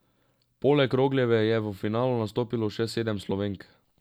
Poleg Rogljeve je v finalu nastopilo še sedem Slovenk.